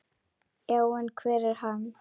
Já, en hver er hann?